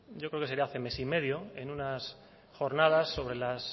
yo creo que sería hace mes y medio en unas jornadas sobre la